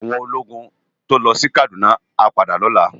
Áwòn ólógùn tó lò si Kaduna á pádà lòlá